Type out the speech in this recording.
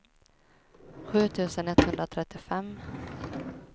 sju tusen etthundratrettiofem